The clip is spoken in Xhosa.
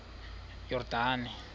yordane